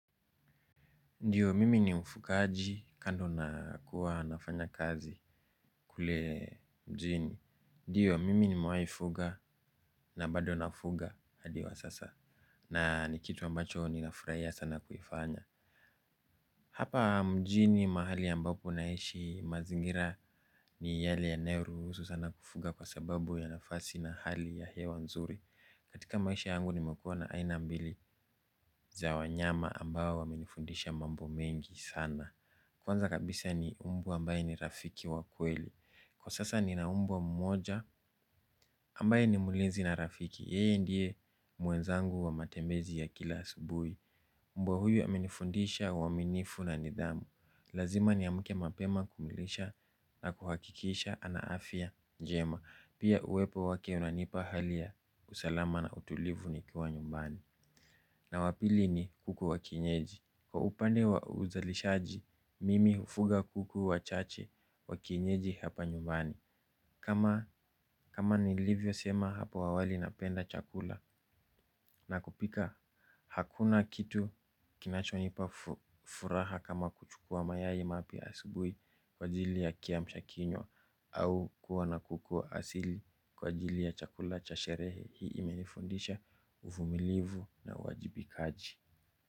Ndiyo mimi ni mfugaji kando na kuwa nafanya kazi kule mjini. Ndiyo mimi nimewai fuga na bado nafuga hadi wa sasa na ni kitu ambacho ninafuraia sana kuifanya. Hapa mjini mahali ambapo naishi mazingira ni yale yanayoruhusu sana kufuga kwa sababu ya nafasi na hali ya hewa nzuri. Katika maisha yangu nimekuwa na aina mbili za wanyama ambao wamenifundisha mambo mengi sana. Kwanza kabisa ni mbwa ambaye ni rafiki wa kweli. Kwa sasa nina mbwa mmoja ambaye ni mlinzi na rafiki. Yeye ndiye mwenzangu wa matembezi ya kila asubuhi. Mbwa huyu amenifundisha uaminifu na nidhamu. Lazima niamke mapema kumilisha na kuhakikisha ana afya njema. Pia uwepo wake unanipa hali ya usalama na utulivu nikiwa nyumbani. Na wa pili ni kuku wa kienyeji. Kwa upande wa uzalishaji, mimi hufuga kuku wachache wa kinyeji hapa nyumbani. Kama nilivyosema hapo awali napenda chakula na kupika, hakuna kitu kinachonipa furaha kama kuchukua mayai mapya asubuhi kwa ajili ya kiamsha kinywa au kuwa na kuku asili kwa ajili ya chakula cha sherehe hii imenifundisha uvumilivu na uwajibikaji.